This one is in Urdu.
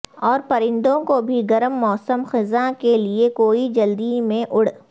اور پرندوں کو بھی گرم موسم خزاں کے لئے کوئی جلدی میں اڑ